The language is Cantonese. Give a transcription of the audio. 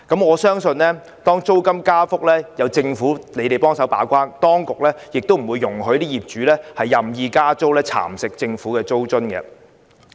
我相信如租金加幅有政府把關，當局亦不會容許業主任意加租，蠶食政府的租金津貼。